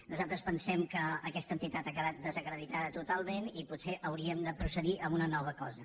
nosaltres pensem que aquesta entitat ha quedat desacreditada totalment i potser hauríem de procedir a una nova cosa